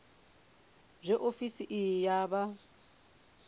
zwe ofisi iyi ya vha